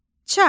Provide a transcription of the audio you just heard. Çarx.